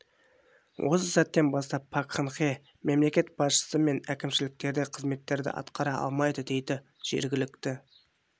осы сәттен бастап пак кын хе мемлекет басшысы мен әкімшіліктегі қызметтерді атқара алмайды дейді жергілікті